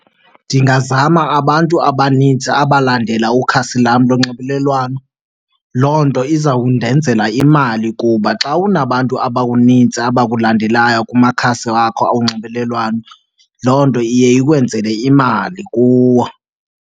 Ndingazama abantu abanintsi abalandela ukhasi lam lonxibelelwano. Loo nto izawundenzela imali kuba xa unabantu abanintsi abakulandelayo kumakhasi wakho onxibelelwano loo nto iye ikwenzele imali kuwo.